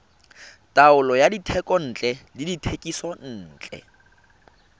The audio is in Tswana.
taolo ya dithekontle le dithekisontle